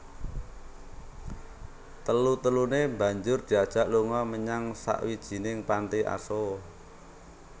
Telu teluné banjur diajak lunga menyang sawijining panti asuh